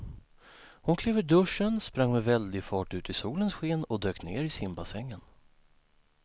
Hon klev ur duschen, sprang med väldig fart ut i solens sken och dök ner i simbassängen.